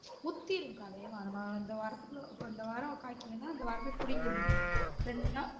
முத்திரும்க்கா அதே மாரிதான் இந்த வாரத்துக்குள்ள இப்ப இந்த வாரம் காய்க்குத்துனா இந்த வாரமே பிடிங்கிரனும்